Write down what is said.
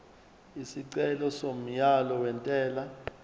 isicelo somyalo wentela